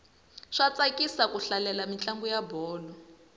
swa tsakisa ku hlalela mintlangu ya bolo